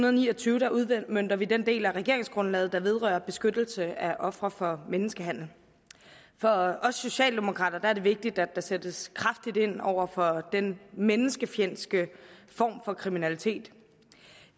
og ni og tyve udmønter vi den del af regeringsgrundlaget der vedrører beskyttelse af ofre for menneskehandel for os socialdemokrater er det vigtigt at der sættes kraftigt ind over for den menneskefjendske form for kriminalitet